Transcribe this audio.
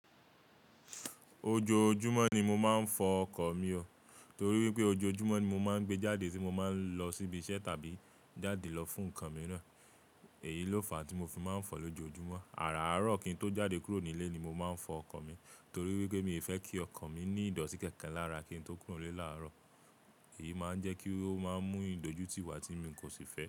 Ojoojúmọ́ ni mo máa ń fọ ọkọ̀ mi ó torí wípé ojoojúmọ́ ni mo máa ń gbé jáde tí mo máa ń lọ síbi iṣẹ́ tàbí jáde lọ fún nǹkan mìíràn. Èyí ló fà á tí mo fi máa ń fọ lójoojúmọ́. Àràárọ̀ kí n tó jáde kúrò nílé ni mo máa ń fọ ọkọ̀ mi torí wípé mi ò fẹ́ kí ọkọ̀ mi ní ìdọ̀tí kankan lára kí n tó kúrò nílé làárọ̀. Èyí máa ń jẹ́ kí ó máa mú ìdójúti wà tí mi kò sì fẹ́.